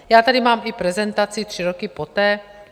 Já tady mám i prezentaci tři roky poté.